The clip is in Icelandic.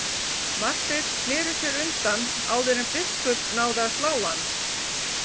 Marteinn sneri sér undan áður en biskup náði að slá hann.